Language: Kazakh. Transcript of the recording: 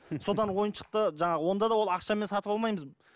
содан ойыншықты жаңағы онда да ол ақшамен сатып алмаймыз